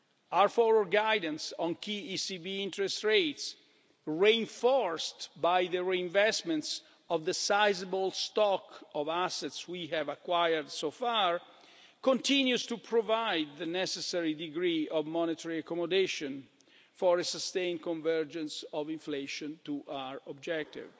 Our forward guidance on key ECB interest rates, reinforced by the reinvestments of the sizeable stock of assets we have acquired so far, continues to provide the necessary degree of monetary accommodation for a sustained convergence of inflation to our objective.